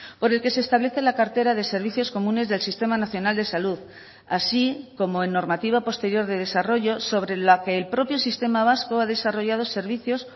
por el que se establece la cartera de servicios comunes del sistema nacional de salud así como en normativa posterior de desarrollo sobre la que el propio sistema vasco ha desarrollado servicios